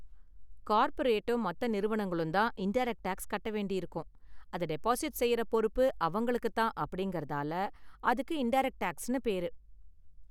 கார்பரேட்டும் மத்த நிறுவனங்களும் தான் இன்டைரக்ட் டேக்ஸ் கட்ட வேண்டியிருக்கும், அத டெபாசிட் செய்யற பொறுப்பு அவங்களுக்கு தான் அப்படிங்கறதால அதுக்கு இன்டைரக்ட் டேக்ஸ்னு பேரு.